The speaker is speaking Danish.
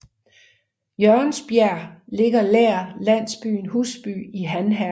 Jørgensbjerg nær landsbyen Husby i Han Herred